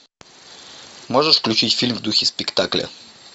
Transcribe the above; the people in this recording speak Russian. можешь включить фильм в духе спектакля